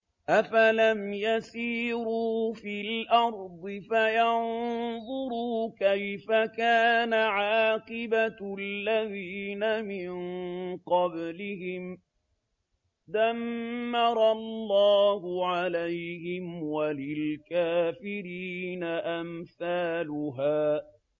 ۞ أَفَلَمْ يَسِيرُوا فِي الْأَرْضِ فَيَنظُرُوا كَيْفَ كَانَ عَاقِبَةُ الَّذِينَ مِن قَبْلِهِمْ ۚ دَمَّرَ اللَّهُ عَلَيْهِمْ ۖ وَلِلْكَافِرِينَ أَمْثَالُهَا